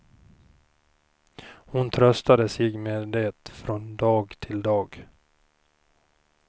Hon tröstade sig med det från dag till dag.